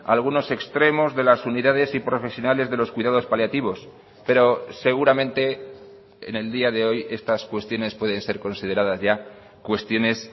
algunos extremos de las unidades y profesionales de los cuidados paliativos pero seguramente en el día de hoy estas cuestiones pueden ser consideradas ya cuestiones